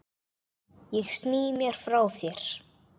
Ég sný mér frá þér.